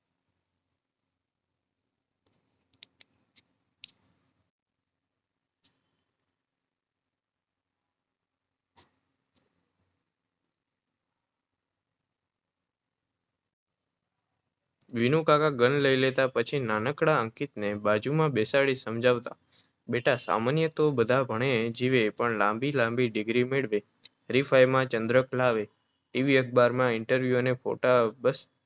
વિનુકાકા gun લઈ લેતા, પછી નાનકડા અંકિતને બાજુમાં બેસાડી સમજાવતા. બેટા, સામાન્ય તો બધા ભણે, જીવે પણ લાંબી લાંબી ડિગ્રી મેળવે, હરીફાઈઓમાં ચંદ્રક લાવે, ટી. વી. અખબારમાં ઈન્ટરવ્યૂ અને ફોટા આવે,